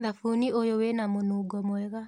Thabuni ũyũ wĩna mũnungo mwega.